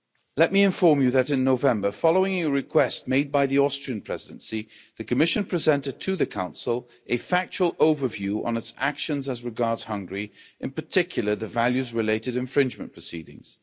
Let me inform you that in November, following a request made by the Austrian Presidency, the Commission presented to the Council a factual overview on its actions as regards Hungary, in particular, the values related infringement proceedings.